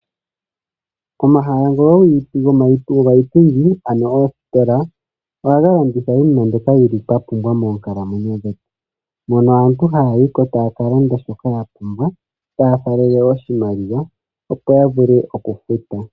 Omahala ngoka go pa yipindi ano oositola, ohaga landitha iinima mbyoka yili twa pumbwa moonkalamwenyo dhetu. Mono aantu haa yiko taa kalanda shoka yapumbwa taya faalele oshimaliwa opo yavule okufuta.